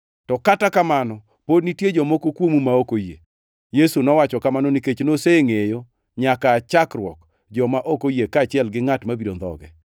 To kata kamano pod nitie jomoko kuomu ma ok oyie.” Yesu nowacho kamano nikech nosengʼeyo nyaka aa chakruok joma ok oyie kaachiel gi ngʼat mabiro ndhoge.